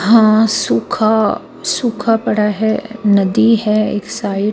हां सूखा सूखा पड़ा है नदी है एक साईड --